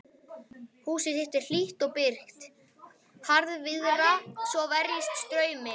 Húsið þitt er hlýtt og byrgt, harðviðra svo verjist straumi.